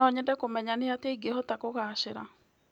No nyende kũmenya nĩ atĩa ingĩhota kũgacĩra.